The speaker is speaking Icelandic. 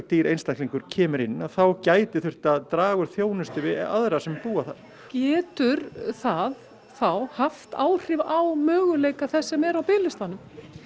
dýr einstaklingur kemur inn að þá gæti þurft að draga úr þjónustu við aðra sem búa þar getur það þá haft áhrif á möguleika þess sem er á biðlistanum